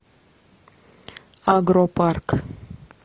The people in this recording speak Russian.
агропарк